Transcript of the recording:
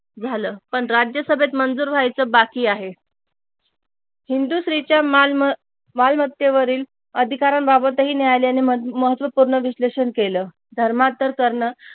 झाल पण राज्यसभेत मंजूर व्हायच बाकी आहे हिंदू स्त्रीच्या मालमत्तेवरील अधिकारांबाबत ही न्यायालयाने महत्वपूर्ण विश्लेषण केल धर्मांतर करण